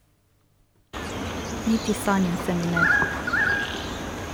Niti sanja se mi ne.